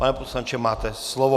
Pane poslanče, máte slovo.